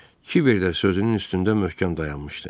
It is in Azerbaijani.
Kibər də sözünün üstündə möhkəm dayanmışdı.